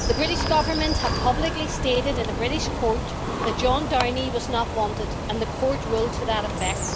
The British government have publicly stated in a British court that John Downey was not wanted, and the court ruled to that effect.